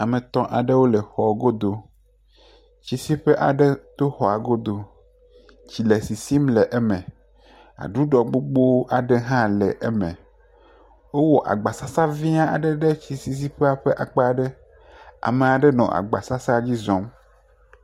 Ame etɔ̃ aɖewo le xɔa godo. Tsisiƒe aɖe to xɔa godo le sisim le eme. Aɖuɖɔ gbogbo aɖe hã le eme. Wowɔ agbasasa vɛ̃ aɖe ɖe tsisiƒea ƒe akpa ɖe. Ame aɖe nɔ agbasasaa dzi zɔm.